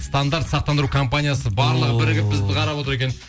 стандарт сақтандыру компаниясы барлығы бірігіп бізді қарап отыр екен